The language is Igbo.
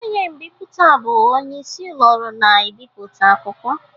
Onye mbiputa bụ onye isi ụlọ ọrụ na-ebipụta akwụkwọ.